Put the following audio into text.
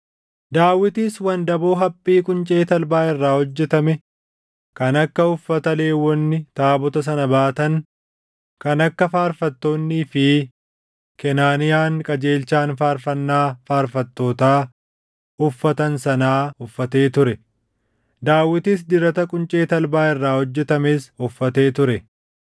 Daawitis wandaboo haphii quncee talbaa irraa hojjetame kan akka uffata Lewwonni taabota sana baatan, kan akka faarfattoonnii fi Kenaaniyaan qajeelchaan faarfannaa faarfattootaa uffatan sanaa uffatee ture. Daawitis dirata quncee talbaa irraa hojjetames uffatee ture.